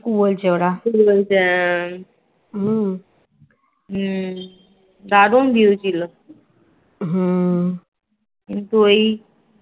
দারুন view ছিল কিন্তু এই